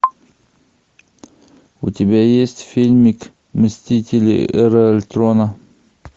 у тебя есть фильмик мстители эра альтрона